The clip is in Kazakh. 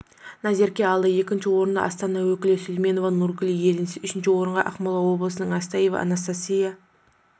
назерке алды екінші орынды астана өкілі сулейменова нургуль иеленсе үшінші орынға ақмола облысынан астафьева анастасия